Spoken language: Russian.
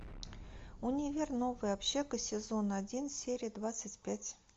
универ новая общага сезон один серия двадцать пять